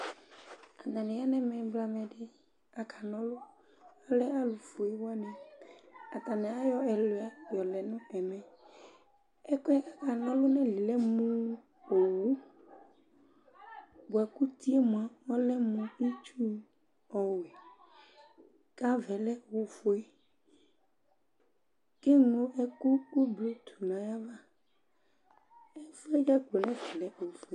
Atanɩ ɔlɛ mʋ ɛblamɛ dɩnɩ aka na ɔlʋAlɛ alʋ fue wanɩAtanɩ ayɔ ɛlʋɩa yɔ lɛ nʋ ɛmɛ; ɛkʋɛ aka na ɔlʋ nayilie lɛ mʋ owu, bʋa kʋ utie mʋa, ɔlɛ mʋ itsu ɔwɛ, kavaɛ lɛ ofue; kʋ eŋlo ɛkʋ kʋ blue tʋ nayava